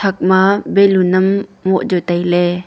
ema balloon am moh jaw tai ley.